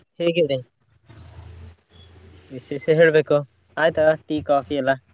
ಹೇಗಿದೆ ವಿಶೇಷ ಹೇಳ್ಬೇಕು ಆಯ್ತಾ tea ಕಾಫಿ ಎಲ್ಲಾ?